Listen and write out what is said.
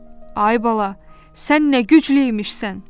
Ay bala, sən nə güclü imişsən?